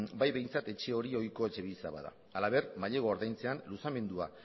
bai behintzat etxe hori ohiko etxebizitza bada halaber mailegua ordaintzean luzamendua